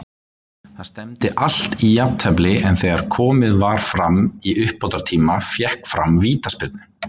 Það stefndi allt í jafntefli, en þegar komið var fram í uppbótartíma fékk Fram vítaspyrnu.